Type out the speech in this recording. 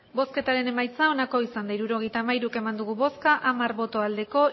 hirurogeita hamairu eman dugu bozka hamar bai